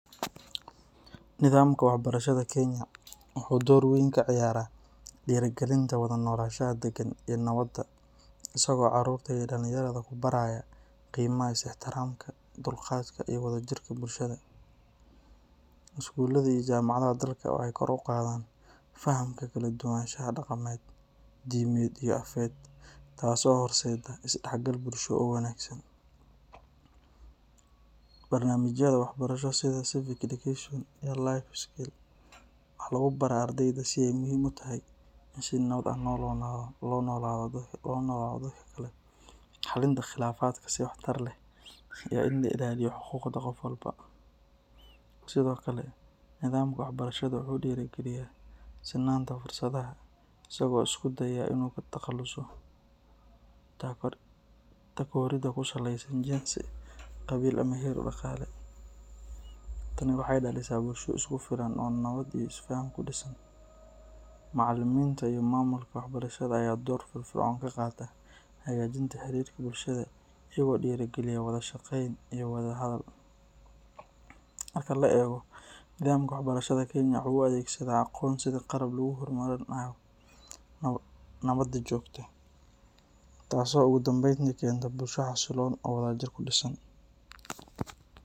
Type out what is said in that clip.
Nidaamka waxbarashada Kenya wuxuu door weyn ka ciyaaraa dhiirrigelinta wada noolaanshaha daggan iyo nabadda, isagoo carruurta iyo dhallinyarada ku baraya qiimaha is-ixtiraamka, dulqaadka, iyo wadajirka bulshada. Iskuullada iyo jaamacadaha dalka waxay kor u qaadaan fahamka kala-duwanaanshaha dhaqameed, diimeed iyo afeed, taasoo horseeda is-dhexgal bulsho oo wanaagsan. Barnaamijyada waxbarasho sida Civic Education iyo Life Skills waxaa lagu baraa ardayda sida ay muhiim u tahay in si nabad ah loola noolaado dadka kale, xallinta khilaafaadka si waxtar leh, iyo in la ilaaliyo xuquuqda qof walba. Sidoo kale, nidaamka waxbarashada wuxuu dhiirrigeliyaa sinnaanta fursadaha, isagoo isku dayaya in uu ka takhaluso takooridda ku saleysan jinsi, qabiil ama heer dhaqaale. Tani waxay dhalisaa bulsho isku filan oo nabad iyo isfaham ku dhisan. Macallimiinta iyo maamulka waxbarashada ayaa door firfircoon ka qaata hagaajinta xiriirka bulshada iyaga oo dhiirrigeliya wada shaqeyn iyo wada hadal. Marka la eego, nidaamka waxbarashada Kenya wuxuu u adeegsadaa aqoonta sidii qalab lagu horumarinayo nabadda joogtada ah, taasoo ugu dambeyntii keenta bulsho xasiloon oo wadajir ku dhisan.